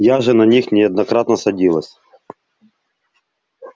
я же на них неоднократно садилась